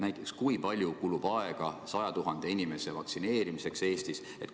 Näiteks, kui palju kulub Eestis aega 100 000 inimese vaktsineerimiseks?